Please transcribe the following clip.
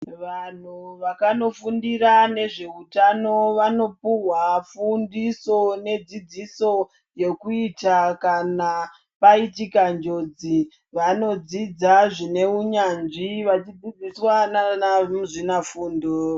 Vanhu vakanofundira nezveutano vanopuhwa fundiso nedzidziso yokuita kana paitika njodzi. Vanodzidza zvine unyanzvi vachidzidziswa naana muzvinafundo.